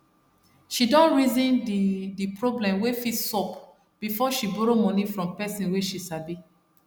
she don reason d d problem wey fit sup before she borrow moni from pesin wey she sabi